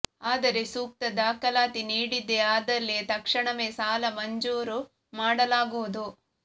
ಆದರೆ ಸೂಕ್ತ ದಾಖಲಾತಿ ನೀಡಿದ್ದೇ ಆದಲ್ಲಿ ತಕ್ಷಣವೇ ಸಾಲ ಮಂಜೂರು ಮಾಡಲಾಗುವುದು